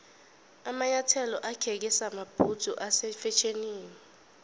amanyathelo akheke samabhudzu ase fetjhenini